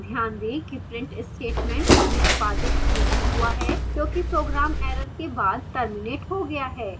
ध्यान दें कि print statement निष्पादित नहीं हुआ है क्योंकि program error के बाद terminates हो गया है